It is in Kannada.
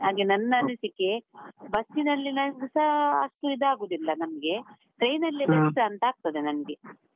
ಹಾಗೆ ನನ್ ಅನಿಸಿಕೆ, ಬಸ್ಸಿನಲ್ಲಿ ಸಾ ಅಷ್ಟು ಇದಾಗುದಿಲ್ಲ ನಮ್ಗೆ, train ಅಲ್ಲಿ best ಅಂತ ಆಗ್ತದೆ ನಮ್ಗೆ.